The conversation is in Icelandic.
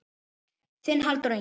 Þinn Halldór Ingi.